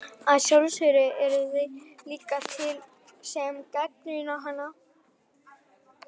Að sjálfsögðu eru þeir líka til sem gagnrýna hana.